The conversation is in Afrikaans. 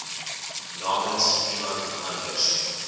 namens iemand anders